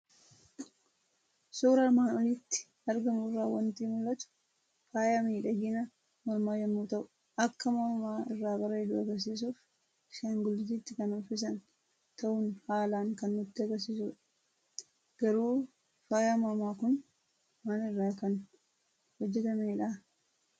Suuraa armaan olitti argamu irraa waanti mul'atu; Faaya miidhaginaa mormaa yommuu ta'u, akka morma irraa bareedu agarsiisuf ashaanguliititti kan uffisan ta'uu haalan kan nutti agarsiisudha. Garuu faayan mormaa kun maal irraa kan hojjetamedhaa?